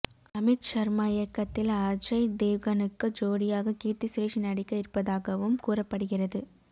அமித் ஷர்மா இயக்கத்தில் அஜய் தேவ்கனுக்கு ஜோடியாக கீர்த்தி சுரேஷ் நடிக்க இருப்பதாகவும் கூறப்படுகிறது